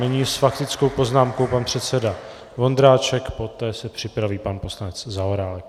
Nyní s faktickou poznámkou pan předseda Vondráček, poté se připraví pan poslanec Zaorálek.